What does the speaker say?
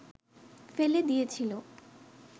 ফেলে দিয়েছিল